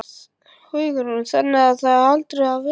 Hugrún: Þannig það er aldrei að vita?